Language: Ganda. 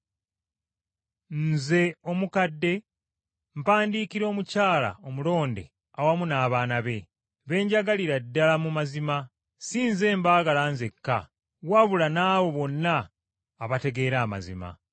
Nze omukadde mpandiikira omukyala omulonde awamu n’abaana be, be njagalira ddala mu mazima, si nze mbaagala nzekka, wabula n’abo bonna abategeera amazima.